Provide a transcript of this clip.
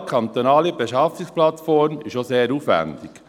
Eine zentrale kantonale Beschaffungsplattform ist auch sehr aufwendig.